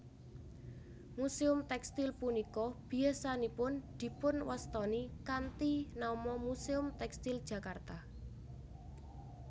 Muséum tèkstil punika biyasanipun dipunwastani kanthi nama Muséum Tèkstil Jakarta